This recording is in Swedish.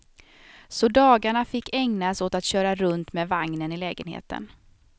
Så dagarna fick ägnas åt att köra runt med vagnen i lägenheten.